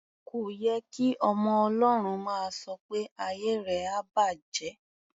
Kò ye kí ọmọ Ọlọ́run máa sọ pé "ayé rẹ á bàjẹ́".